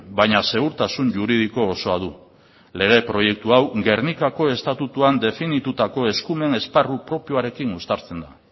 baina segurtasun juridiko osoa du lege proiektu hau gernikako estatutuan definitutako eskumen esparru propioarekin uztartzen da